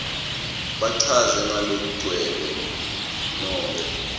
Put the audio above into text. bachaze ngalokugcwele nobe